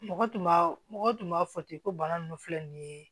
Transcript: Mɔgɔ tun b'a mɔgɔ tun b'a fɔ ten ko bana ninnu filɛ nin ye